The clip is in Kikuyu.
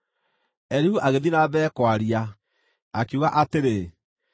Elihu agĩthiĩ na mbere kwaria, akiuga atĩrĩ: